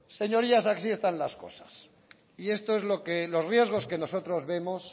señorías así están las cosas y esto es lo que los riesgos que nosotros vemos